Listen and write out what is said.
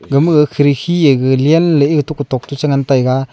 gama khirki ega genley ega tok kutok chengan taiga.